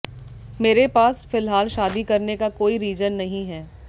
मेरे पास फिलहाल शादी करने का कोई रीजन नहीं है